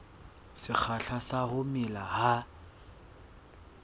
sekgahla sa ho mela ha